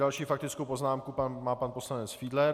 Další faktickou poznámku má pan poslanec Fiedler.